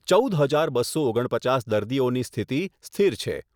ચૌદ હજાર બસો ઓગણપચાસ દર્દીઓની સ્થિતિ સ્થિર છે.